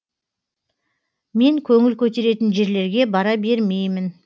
мен көңіл көтеретін жерлерге бара бермеймін